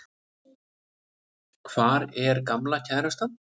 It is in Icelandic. Hvar er gamla kærastan?